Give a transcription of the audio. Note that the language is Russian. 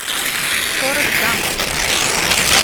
форрест гамп